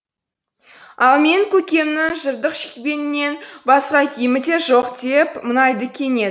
ал менің көкемнің жыртық шекпенінен басқа киімі де жоқ деп мұңайды кенет